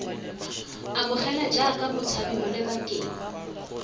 amogelwa jaaka motshabi mo lebakeng